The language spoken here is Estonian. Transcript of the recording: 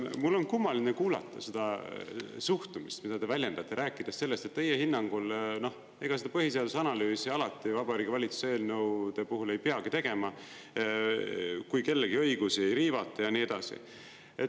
Mul on kummaline kuulata seda suhtumist, mida te väljendate, rääkides sellest, et teie hinnangul seda põhiseaduse analüüsi alati Vabariigi Valitsuse eelnõude puhul ei peagi tegema, kui kellegi õigusi ei riivata ja nii edasi.